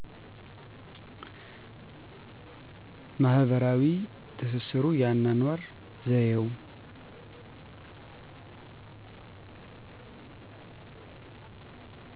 ማህበራዊ ትስስሩ የአኖኖር ዘየው